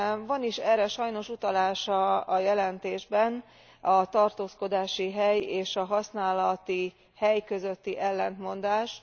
Van is erre sajnos utalás a jelentésben, a tartózkodási hely és a használati hely közötti ellentmondás.